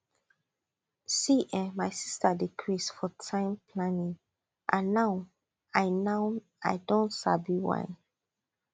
see[um]my sister dey craze for time planning and now i now i don sabi why